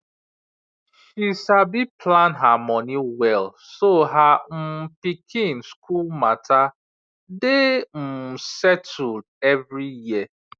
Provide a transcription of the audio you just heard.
she sabi plan her money well so her um pikin school matter dey um settled every year